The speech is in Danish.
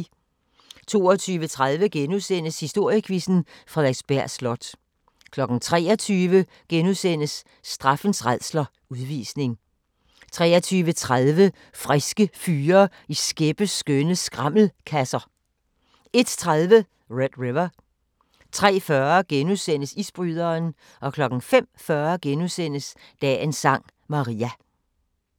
22:30: Historiequizzen: Frederiksberg Slot * 23:00: Straffens rædsler – Udvisning * 23:30: Friske fyre i skæppeskønne skrammelkasser 01:30: Red River 03:40: Isbryderen * 05:40: Dagens Sang: Maria *